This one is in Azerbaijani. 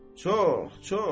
Çox, çox.